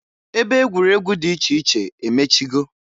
Ebe egwuregwu dị iche iche emechigo.